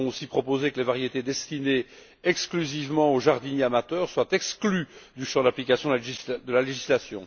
Nous avons aussi proposé que les variétés destinées exclusivement aux jardiniers amateurs soient exclues du champ d'application de la législation.